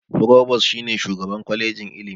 Furobas shi ne shugaban kwalejin Ilimi.